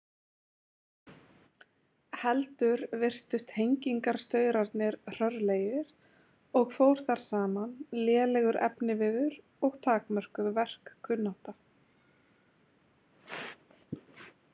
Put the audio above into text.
Heldur virtust hengingarstaurarnir hrörlegir og fór þar saman lélegur efniviður og takmörkuð verkkunnátta.